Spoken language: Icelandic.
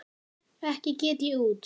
Ekki get ég út